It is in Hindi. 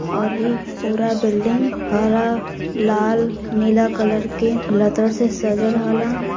और ये पूरा बिल्डिंग हरा लाल नीला कलर के लता से सजल हल।